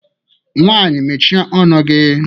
Nwaanyị mechie ọnụ gị!